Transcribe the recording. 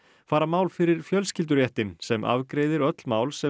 fara mál fyrir sem afgreiðir öll mál sem